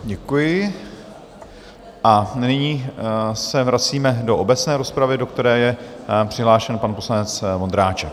Děkuji a nyní se vracíme do obecné rozpravy, do které je přihlášen pan poslanec Vondráček.